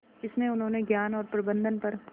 इसमें उन्होंने ज्ञान और प्रबंधन पर